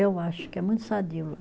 Eu acho que é muito sadio lá.